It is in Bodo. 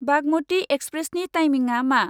बागमति एक्सप्रेसनि टाइमिंआ मा?